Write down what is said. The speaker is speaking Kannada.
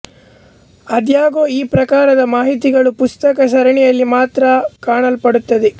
ಆದಾಗ್ಯೂ ಈ ಪ್ರಕಾರದ ಮಾಹಿತಿಗಳು ಪುಸ್ತಕ ಸರಣಿಯಲ್ಲಿ ಮಾತ್ರ ಕಾಣಲ್ಪಡುತ್ತದೆ